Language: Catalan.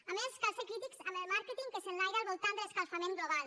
a més cal ser crítics amb el màrqueting que s’enlaira al voltant de l’escalfament global